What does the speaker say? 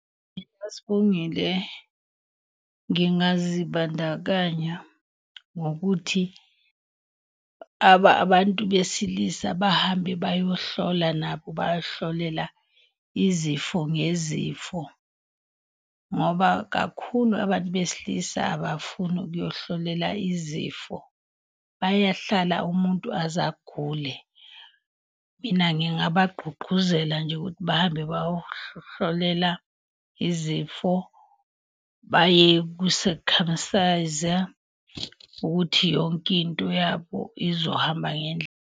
Mina Sibongile, ngingazibandakanya ngokuthi abantu besilisa bahambe bayohlola nabo bayohlolela izifo ngezifo. Ngoba kakhulu abantu besilisa abafuni ukuyohlolela izifo, bayahlala umuntu aze agule. Mina ngingabagqugquzela nje ukuthi bahambe bayohlolela izifo, baye kusekhamsayiza ukuthi yonke into yabo izohamba ngendlela.